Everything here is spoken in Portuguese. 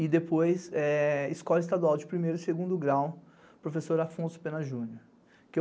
e depois escola estadual de primeiro e segundo grau, professor Afonso Pena Júnior.